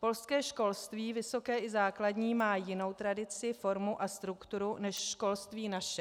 Polské školství, vysoké i základní, má jinou tradici, formu a strukturu než školství naše.